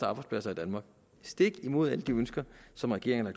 arbejdspladser i danmark stik imod alle de ønsker som regeringen er